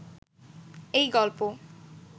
এই গল্প